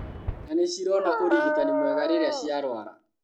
Na nĩcirona ũrigitani mwega rĩrĩa ciarũara